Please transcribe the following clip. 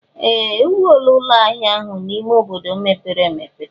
Ee! E wuola ụlọ ahịa ahụ n'ime obodo mepere emepe.